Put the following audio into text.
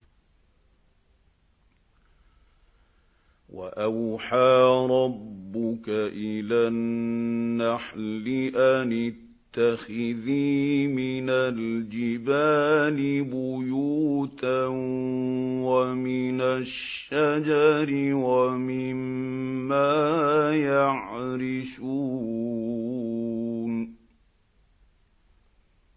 وَأَوْحَىٰ رَبُّكَ إِلَى النَّحْلِ أَنِ اتَّخِذِي مِنَ الْجِبَالِ بُيُوتًا وَمِنَ الشَّجَرِ وَمِمَّا يَعْرِشُونَ